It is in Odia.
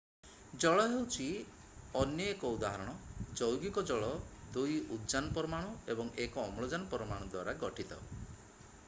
ଜଳ ହେଉଛି ଅନ୍ୟ ଏକ ଉଦାହରଣ ଯୌଗିକ ଜଳ 2 ଉଦଜାନ ପରମାଣୁ ଏବଂ 1 ଅମ୍ଳଜାନ ପରମାଣୁ ଦ୍ୱାରା ଗଠିତ